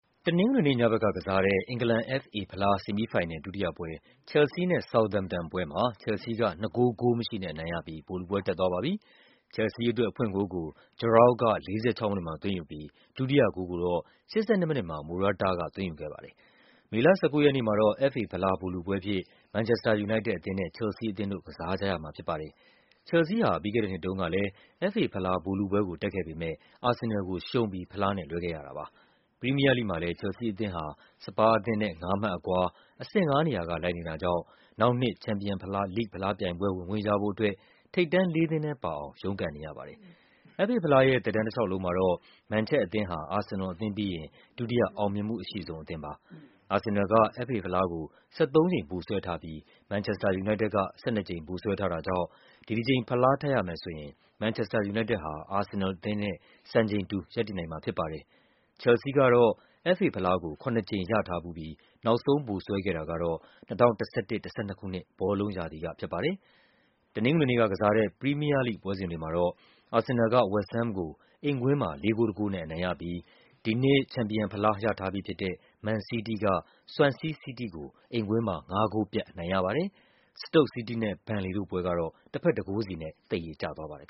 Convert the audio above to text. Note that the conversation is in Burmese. တနင်္ဂနွေနေ့ညဘက်က ကစားတဲ့ အင်္ဂလန် FA ဖလား ဆီမီးဖိုင်နယ် ဒုတိယပွဲ ချယ်လ်ဆီး နဲ့ ဆောက်သမ်ပ်တန်ပွဲမှာ ချယ်လ်ဆီး က ၂ ဂိုး ဂိုးမရှိနဲ့ အနိုင်ရပြီး ဗိုလ်လုပွဲတက်သွား ပါပြီ။ ချယ်လ်ဆီးအတွက် အဖွင့်ဂိုးကို Giroud က ၄၆ မိနစ်မှာ သွင်းယူပြီး ဒုတိယဂိုးကို ၈၂ မိနစ်မှာ Morata က သွင်းယူခဲ့ပါတယ်။ မေလ ၁၉ ရက်နေ့မှာတော့ FA ဖလား ဗိုလ်လုပွဲအဖြစ် မန်ချက်စတာ ယူနိုက်တက် အသင်းနဲ့ ချယ်လ်ဆီးအသင်းတို့ ကစားကြရမှာ ဖြစ်ပါတယ်။ ချယ်လ်ဆီးဟာ ပြီးခဲ့တဲ့နှစ် တုန်းကလည်း FA ဖလား ဗိုလ်လုပွဲကို တက်ခဲ့ပေမဲ့ အာဆင်နယ်လ်ကိုရှုံးပြီး ဖလားနဲ့ လွဲခဲ့ ရတာပါ။ ပရီးမီးယားလိဂ်မှာလည်း ချယ်လ်ဆီးအသင်းဟာ စပါးအသင်းနဲ့ ၅ မှတ်အကွာ အဆင့် ၅ နေရာက လိုက်နေတာကြောင့် နောက်နှစ် ချန်ပီယံလိဂ်ဖလားပြိုင်ပွဲ ဝင်ခွင့်ရဖို့ အတွက် ထိပ်တန်းလေးသင်းထဲပါအောင် ရုန်းကန်နေရပါတယ်။ FA ဖလား သက်တမ်းတလျှောက်မှာတော့ မန်ချက်အသင်းဟာ အာဆင်နယ်အသင်းပြီးရင် ဒုတိယ အောင်မြင်မှုအရှိဆုံး အသင်း ပါ။ အာဆင်နယ်လ်က အက်ဖ်အေဖလားကို ၁၃ ကြိမ် ဗိုလ်စွဲထားပြီး မန်ချက်က ၁၂ ကြိမ် ဗိုလ်စွဲထားတာကြောင့် ဒီတကြိမ် ဖလား ထပ်ရ မယ်ဆိုရင် မန်ချက်ဟာ အာဆင်နယ်နဲ့ စံချိန်တူ ရပ်တည်နိုင်မှာဖြစ်ပါတယ်။ ချယ်လ်ဆီးကတော့ FA ဖလားကို ၇ ကြိမ် ရထားဖူးပြီး နောက်ဆုံးဗိုလ်စွဲခဲ့တာကတော့ ၂၀၁၁-၁၂ ဘောလုံးရာသီကဖြစ်ပါတယ်။ တနင်္ဂနွေနေ့ ပရီးမီးယားလိဂ်ပွဲတွေမှာတော့ အာဆင်နယ်လ်က ဝက်စ်ဟမ်းကို အိမ်ကွင်း မှာ ၄ ဂိုး ၁ ဂိုးနဲ့ အနိုင်ရပြီး ဒီနှစ် ချန်ပီယံ ဖလား ရထားပြီးဖြစ်တဲ့ မန်စီးတီးက ဆွမ်ဆီး စီးတီးကို အိမ်ကွင်းမှာ ၅ ဂိုးပြတ် အနိုင်ရပါတယ်။ စတုတ်စီးတီးနဲ့ ဘန်လေတို့ပွဲကတော့ တဘက် ၁ ဂိုးစီနဲ့ သရေကျသွားပါတယ်။